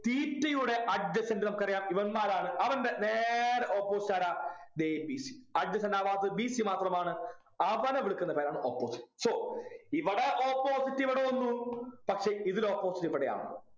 theta യുടെ adjacent നമുക്കറിയാം ഇവന്മാരാണ് അവൻ്റെ നേരെ opposite ആരാ ദേ B C adjacent ആവാത്തത് B C മാത്രമാണ് അവനെ വിളിക്കുന്ന പേരാണ് opposite so ഇവിടെ opposite ഇവിടെ വന്നു പക്ഷെ ഇതിൽ opposite ഇവിടെയാണ്.